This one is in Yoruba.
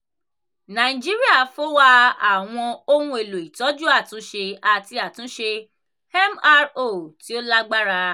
naijiria fowa awọn ohun elo itọju atunṣe ati atunṣe (mro) ti o lagbara.